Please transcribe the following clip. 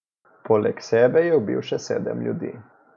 Poleg sebe je ubil še sedem ljudi.